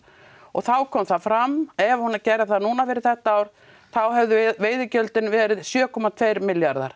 þá kom það fram ef hún er gerð núna fyrir þetta ár þá hefðu veiðigjöldin verið sjö komma tvö milljarðar